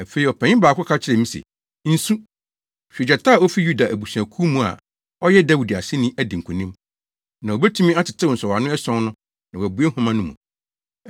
Afei ɔpanyin baako ka kyerɛɛ me se, “Nsu. Hwɛ! Gyata a ofi Yuda abusuakuw mu a ɔyɛ Dawid aseni adi nkonim, na obetumi atetew nsɔwano ason no na wabue nhoma no mu.”